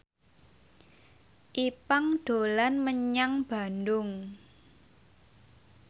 Ipank dolan menyang Bandung